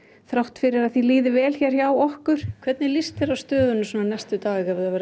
þrátt fyrir að því líði vel hér hjá okkur hvernig líst þér á stöðuna næstu daga ef